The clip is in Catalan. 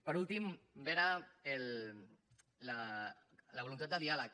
per últim veure la voluntat de diàleg